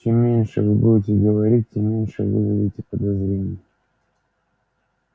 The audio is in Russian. чем меньше вы будете говорить тем меньше вызовете подозрений